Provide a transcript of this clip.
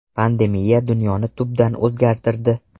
Pandemiya dunyoni tubdan o‘zgartirdi.